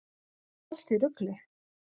Allt í rugli!